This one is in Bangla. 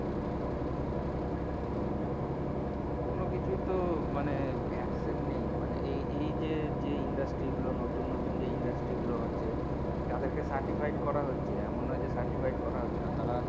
কোন কিছুই তো মানে excen নেই মানে এ এই যে industry গুলো নতুন নতুন যে industry গুলো হচ্ছে কাদের কে cartifid করা হচ্ছে এমন না যে certificate করা হচ্ছে না